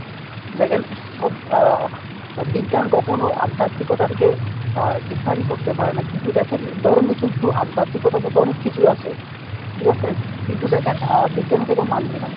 দেখেন সব আহ বিজ্ঞান কখনো আধ্যাতিকতা কে আহ define করতে পারে না কিন্তু দেখেন ধর্মে কিন্তু আধ্যাতিকতা বলতে অনেক কিছু আছে ঠিকাছে কিন্তু দেখেন আহ বিজ্ঞান এটাকে মানবে না।